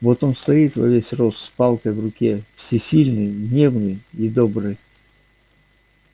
вот он стоит во весь рост с палкой в руке всесильный гневный и добрый